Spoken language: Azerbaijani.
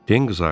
Den qızardı.